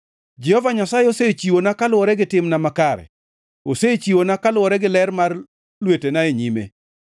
Jehova Nyasaye osechiwona kaluwore gi timna makare, osechiwona kaluwore gi ler mar lwetena e nyime.